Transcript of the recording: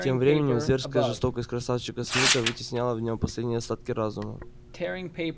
тем временем зверская жестокость красавчика смита вытесняла в нем последние остатки разума